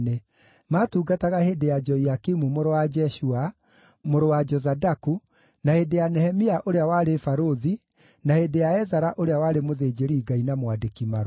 Maatungataga hĩndĩ ya Joiakimu mũrũ wa Jeshua, mũrũ wa Jozadaku, na hĩndĩ ya Nehemia ũrĩa warĩ barũthi, na hĩndĩ ya Ezara ũrĩa warĩ mũthĩnjĩri-Ngai na mwandĩki-marũa.